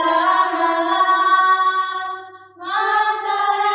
शस्यशामलां मातरम्